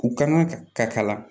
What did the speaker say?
U kan ka ka kala